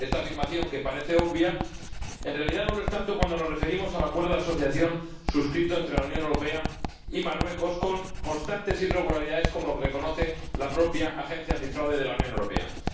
Esta afirmación, que parece obvia, en realidad no lo es tanto cuando nos referimos al Acuerdo de Asociación suscrito entre la Unión Europea y Marruecos, con constantes irregularidades, como reconoce la propia Oficina Europea de Lucha contra el Fraude.